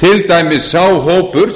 til dæmis sá hópur